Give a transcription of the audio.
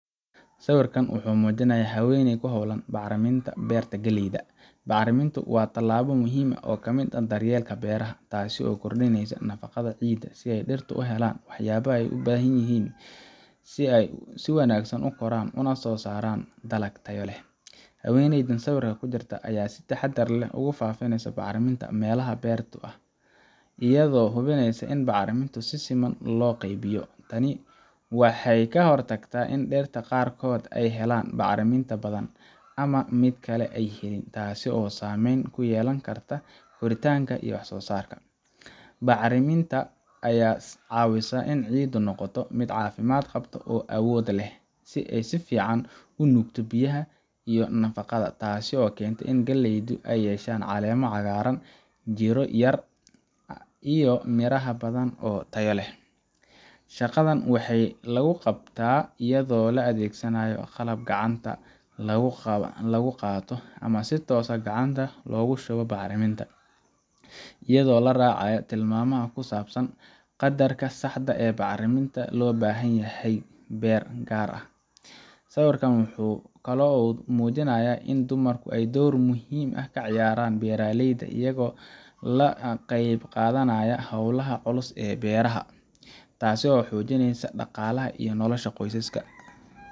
Sawirkan waxa uu muujinayaa haweeney ku hawlan bacriminta beerta galleyda. Bacrimintu waa talaabo muhiim ah oo ka mid ah daryeelka beeraha, taasoo lagu kordhiyo nafaqada ciidda si dhirta ay u helaan waxyaabaha ay u baahan yihiin si ay si wanaagsan u koraan una soo saaraan dalag tayo leh. Haweeneyda sawirka ku jirta ayaa si taxadar leh ugu faafinaysa bacriminta meelaha beertu ah, iyadoo hubinaysa in bacriminta si siman loo qaybiyo. Tani waxay ka hortagtaa in dhirta qaarkood ay helaan bacriminta badan ama mid kale ay helin, taasoo saameyn ku yeelan karta koritaanka iyo wax-soosaarka. Bacriminta ayaa caawisa in ciiddu noqoto mid caafimaad qabta oo awood u leh in ay si fiican u nuugto biyaha iyo nafaqada, taasoo keenta in galleydu ay yeeshaan caleemo cagaaran, jirro yar, iyo miraha badan oo tayo leh. Shaqadan waxay lagu qabtaa iyadoo la adeegsanayo qalab gacanta lagu qaato ama si toos ah gacanta loogu shubo bacriminta, iyadoo la raacayo tilmaamaha ku saabsan qadarka saxda ah ee bacriminta ee loo baahan yahay beer gaar ah. Sawirka waxa kale oo uu muujinayaa in dumarku ay door muhiim ah ka ciyaaraan beeraleyda, iyagoo ka qayb qaadanaya hawlaha culus ee beeraha, taasoo xoojinaysa dhaqaalaha iyo nolosha qoysaska.